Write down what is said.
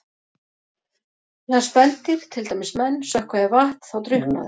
Þegar spendýr, til dæmis menn, sökkva í vatn þá drukkna þau.